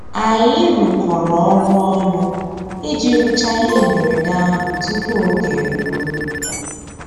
Ànyị́ rụ́kọ̀rọ́ ọ́rụ́ ọnụ́ ìjì rụ́cháá íhé mbérèdé àhụ́ túpú ògé èrúó.